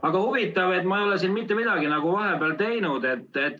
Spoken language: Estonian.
Aga huvitav, et ma ei ole siin mitte midagi nagu vahepeal teinud.